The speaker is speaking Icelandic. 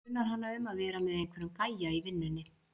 . grunar hana um að vera með einhverjum gæja í vinnunni.